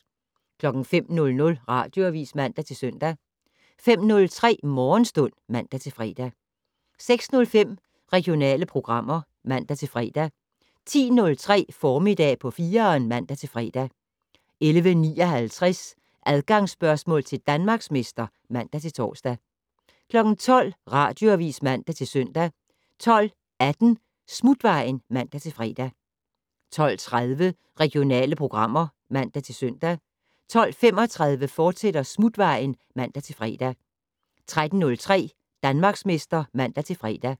05:00: Radioavis (man-søn) 05:03: Morgenstund (man-fre) 06:05: Regionale programmer (man-fre) 10:03: Formiddag på 4'eren (man-fre) 11:59: Adgangsspørgsmål til Danmarksmester (man-tor) 12:00: Radioavis (man-søn) 12:18: Smutvejen (man-fre) 12:30: Regionale programmer (man-søn) 12:35: Smutvejen, fortsat (man-fre) 13:03: Danmarksmester (man-fre)